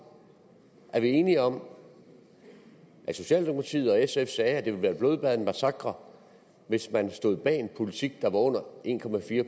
er vi enige om at socialdemokratiet og sf sagde at det ville være et blodbad og en massakre hvis man stod bag en politik der var under en